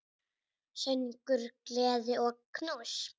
Söngur, gleði og knús.